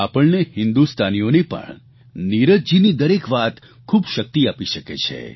આપણને હિંદુસ્તાનીઓને પણ નીરજજીની દરેક વાત ખૂબ શક્તિ આપી શકે છે